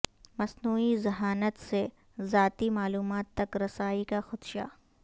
مصنوعی ذہانت سے ذاتی معلومات تک رسائی کا خدشہ